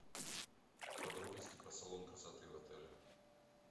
подробности про салон красоты в отеле